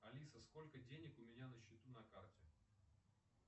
алиса сколько денег у меня на счету на карте